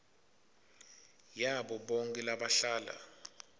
yabo bonkhe labahlala